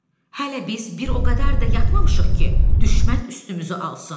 Hələ biz bir o qədər də yatmamışıq ki, düşmən üstümüzü alsın.